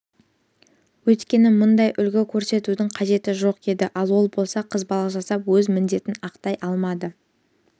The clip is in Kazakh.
өйткені мұндай үлгі көрсетудің қажеттігі жоқ еді ал ол болса қызбалық жасап өз міндетін ақтай алмады